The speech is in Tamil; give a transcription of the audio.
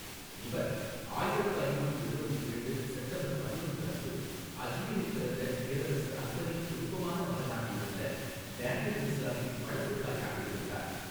இவர், ஆயிரத்து ஐநூற்று எழுபத்தி இரண்டு செப்டம்பர் பதினொன்று அன்று அஜ்மீரில் பிறந்த பேரரசர் அக்பரின் விருப்பமான மகனாக இருந்த டேனியல் மிர்சாவின் வளர்ப்புத் தாயாக இருந்தார்.